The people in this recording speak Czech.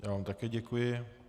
Já vám také děkuji.